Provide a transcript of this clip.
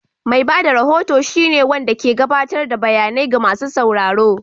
Mai ba da rahoto shine wanɗa ke gaɓatar da bayanai ga masu sauraro.